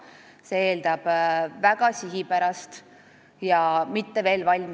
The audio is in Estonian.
See eeldab väga sihipärast tööd meie registritega.